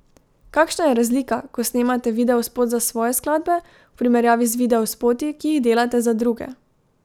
Kakšna je razlika, ko snemate videospot za svoje skladbe, v primerjavi z videospoti, ki jih delate za druge?